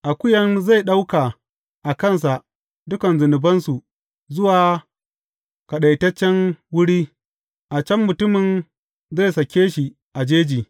Akuyan zai ɗauka a kansa dukan zunubansu zuwa kaɗaitaccen wuri, a can mutumin zai sake shi a jeji.